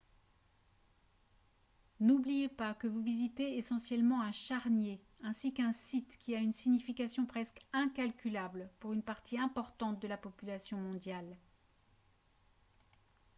n'oubliez pas que vous visitez essentiellement un charnier ainsi qu'un site qui a une signification presque incalculable pour une partie importante de la population mondiale